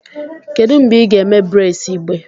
Kedu mgbe ị ga-eme braids igbe?